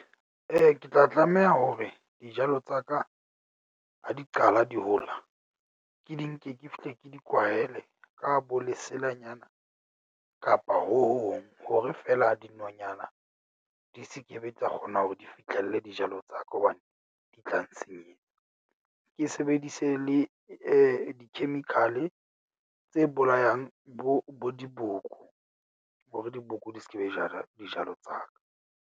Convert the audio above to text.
Ke tla tlameha hore dijalo tsa ka ha di qala di hola, ke di nke ke fihle ke di kwahele ka bo leselanyana kapa ho hong, hore feela dinonyana di se ke be tsa kgona hore di fitlhelle dijalo tsa ka hobane di tla nsenyetsa. Ke sebedise le di-chemical-e tse bolayang bo bo diboko hore diboko di skebe jala dijalo tsa ka.